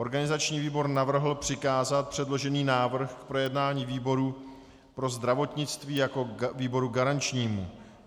Organizační výbor navrhl přikázat předložený návrh k projednání výboru pro zdravotnictví jako výboru garančnímu.